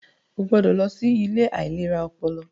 O gbọdọ lọ sí ilé ìlera ọpọlọ!